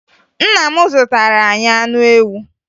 Nna m zụtara anyị anụ ewu